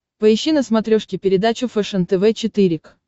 поищи на смотрешке передачу фэшен тв четыре к